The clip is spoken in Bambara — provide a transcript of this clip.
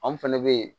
Anw fɛnɛ be yen